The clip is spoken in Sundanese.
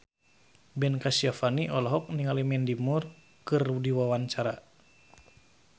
Ben Kasyafani olohok ningali Mandy Moore keur diwawancara